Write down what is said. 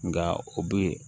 Nka o bɛ